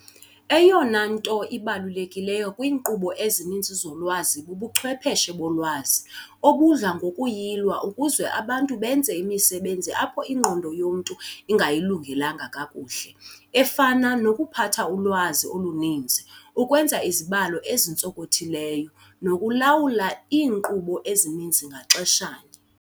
Eyona nto ibalulekileyo kwiinkqubo ezininzi zolwazi bubuchwepheshe bolwazi, obudla ngokuyilwa ukuze abantu benze imisebenzi apho ingqondo yomntu ingayilungelanga kakuhle, efana- nokuphatha ulwazi oluninzi, ukwenza izibalo ezintsonkothileyo, nokulawula iinkqubo ezininzi ngaxeshanye.